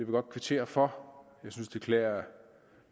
godt kvittere for jeg synes det klæder